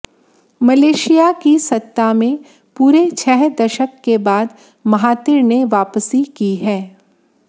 Malaysia की सत्ता में पूरे छह दशक के बाद महातिर ने वापसी की है